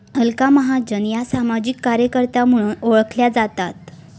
अलका महाजन या सामाजिक कार्यकर्त्या म्हणून ओळखल्या जातात